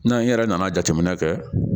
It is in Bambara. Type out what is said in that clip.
N'an yɛrɛ nana jateminɛ kɛ